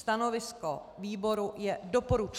Stanovisko výboru je doporučující.